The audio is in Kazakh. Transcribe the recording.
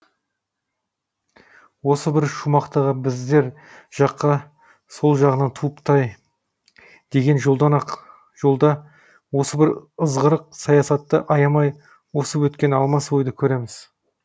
осы бір шумақтағы біздер жаққа сол жағынан туыпты ай деген жолдан осы бір ызғырық саясатты аямай осып өткен алмас ойды көреміз